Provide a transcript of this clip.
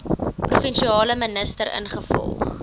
provinsiale minister ingevolge